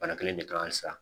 Bana kelen in de kan halisa